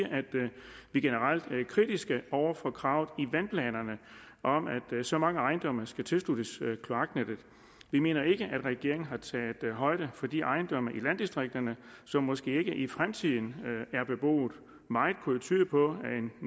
vi generelt er kritiske over for kravet i vandplanerne om at så mange ejendomme skal tilsluttes kloaknettet vi mener ikke at regeringen har taget højde for de ejendomme i landdistrikterne som måske ikke i fremtiden er beboet meget kunne jo tyde på